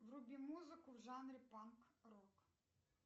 вруби музыку в жанре панк рок